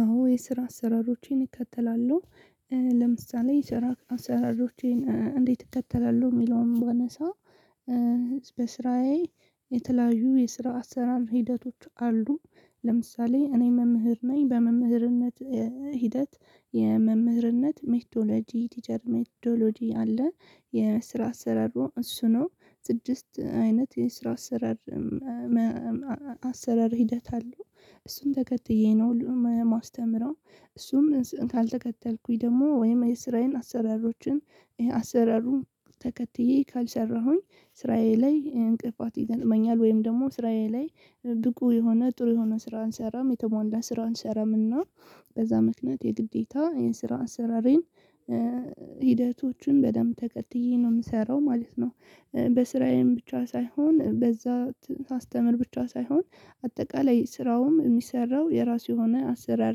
አዎ የስራ አሰራሮቼን እከተላለሁ። ለምሳሌ ስራ አሰራሮቼን እንዴት እከተላለሁ የሚለውን ባነሳ። በስራዬ የተለያዩ የስራ አሰራር ሂደቶች አሉ። ለምሳሌ እኔ መምህር ነኝ በመምህርነቴ ሂደት የመምህርነት ሜትዶሎጂ ቲቸር ሜትዶሎጂ አለ። የስራ አሰራሩ እሱ ነው ስድስት አይነት የስራ አሰራር። አሰራር ሂደት አሉ እሱን ተከትዬ ነው የማስተምረው። እሱን ካልተከተልኩኝ ደግሞ ወይም የስራዬን አሰራሮችን አሰራሩን ተከትዬ ካልሰራሁኝ ስራዬ ላይ እንቅፋት ይገጥመኛል። ወይም ደግሞ ስራዬ ላይ ብቁ የሆነ ጥሩ የሆነ ስራ አንሰራም የተሟላ ስራ አንሰራም። እና በዛ ምክንያት የግዴታ የስራ አሰራሬን ሂደቶቹን በደንብ ተከትዬ ነው የምሰራው ማለት ነው። በስራዬም ብቻ ሳይሆን በዛ ሳስተምር ብች ሳይሆን አጠቃላይ ስራውም የሚሰራው ብዙ የሆነ አሰራር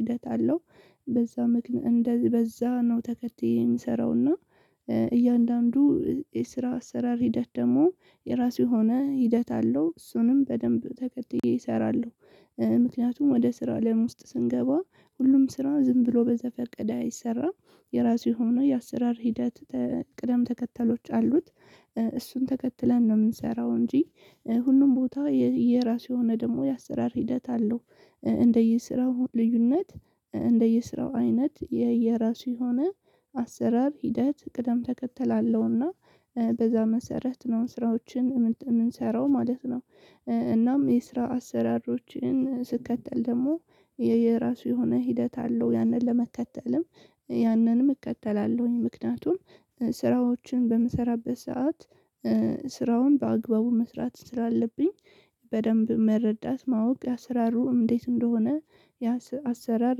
ሂደት አለው። በዛ ምክንያ እንደዚህ በዛ ነው ተከትዬ የምሰራው። እያንዳንዱ የስራ አሰራር ሂደት ደግሞ የራሱ የሆነ ሂደት አለው እሱንም በደንብ ተከትዬ እሰራለሁ። ምክንያቱም ወደ ስራ አለም ውስጥ ስንገባ ሁሉም ስራ ዝም ብሎ በዘፈቀደ አይሰራም። የራሱ የሆኑ የአሰራር ሂደት ቅደም ተከተሎች አሉት። እሱን ተከትለን ነው የምንሰራው እንጂ ሁሉም ቦታ የየራሱ የሆነ ደግሞ የአሰራር ሂደት አለው። እንደየስራው ልዩነት እንደየስራው አይነት የየራሱ የሆነ አሰራር ሂደት ቅደም ተከተል አለውና በዛ መሰረት ነው ስራዎችን የምንሰራው ማለት ነው። እናም የስራ አሰራሮችን ስከተል ደግሞ የየራሱ የሆነ ሂደት አለው ያንን ለመከተልም ያንንም እከተላለሁኝ ምክንያቱም። ስራዎችን በምሰራበት ሰዓት ስራውን በአግባቡ መስራት ስላለብኝ። በደንብ መረዳት ማወቅ ያስፈልጋል አሰራሩ እንዴት እንደሆነ? አሰራር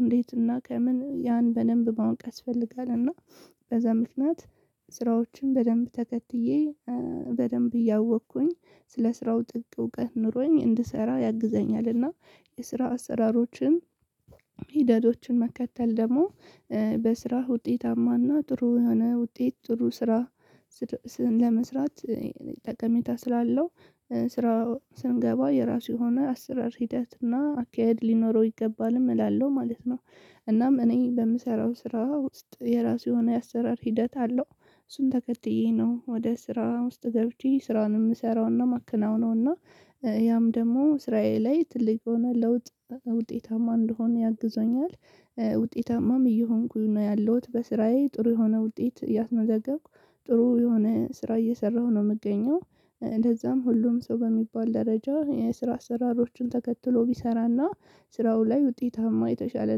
እንዴት እና ከምን ያን በደንብ ማወቅ ያስፈልጋል። እና በዛ ምክንያት ሰራዎችን በደንብ ተከትዬ በደንብ እያወቅኩኝ ስለ ስራው ጥልቅ እውቀት ኖሮኝ እንድሰራ ያግዘኛል። እና የስራ አሰራሮችን ሂደቶችን መከተል ደግሞ በስራ ውጤታማና ጥሩ የሆነ ውጤት ጥሩ ስራ። ለመስራት ጠቀሜታ ስላለው ስራው ስንገባ የራሱ የሆነ አስራር ሂደት እና አካሄድ ሊኖረው ይገባልም እላለሁ ማለት ነው። እናም እኔ በምሰራው ስራ ውስጥ የራሱ የሆነ የአሰራር ሂደት አለው። እሱን ተከትዬ ነው ወደ ስራ ውስጥ ገብቼ ስራን የምሰራውና የማከናውነውና። ያም ደግሞ ትልቅ ሆነ ለውጥ ውጤታማ እንደሆነ ያግዘኛል። ውጤታማም እየሆንኩኝ ነው ያለሁት በስራዬ ጥሩ የሆነ ውጤት እያስመዘገብኩ ጥሩ የሆነ ስራ እየሰራሁ ነው የምገኘው። እንደዛም ሁሉም ሰው በሚባል ደረጃ የስራ አሰራሮችን ተከትሎ ቢሰራና ስራው ላይ ውጤታማ የተሻለ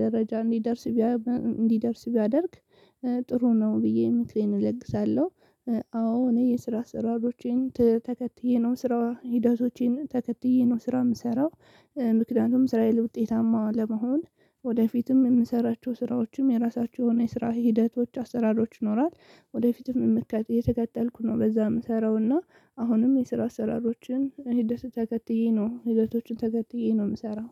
ደረጃ እንዲደርስ እንዲደርስ ቢያደርግ ጥሩ ነው ብዬ ምክሬን እለግሳለሁ። አዎ እኔ የስራ አሰራሮቼን ተከትዬ ነው ስራ ሂደቶቼን ተከትዬ ነው ስራ የምሰራው። ምክንያቱም ስራዬን ውጤታማ ለመሆን ወደፊትም የምንሰራቸው ስራዎችም የራሳችሁ የሆነ የስራ ሂደቶች አሰራሮች ይኖራል። ወደፊትም የምትከተል የተከተልኩ ነው በዛ ምሰራውና። አሁንም የስራ አሰራሮችን ሂደት ተከትዬ ነው ሂደቶችን ተከትዬ ነው የምሰራው።